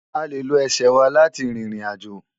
À lé ló èsè wá láti ririnàjó